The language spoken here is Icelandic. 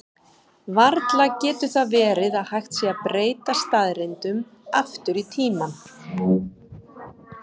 Varla getur það verið að hægt sé að breyta staðreyndum aftur í tímann?